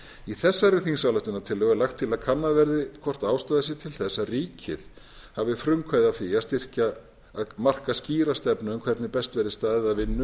í þessari þingsályktunartillögu er lagt til að kannað verði hvort ástæða sé til þess að ríkið hafi frumkvæði að því að marka skýra stefnu um hvernig best verði staðið að vinnu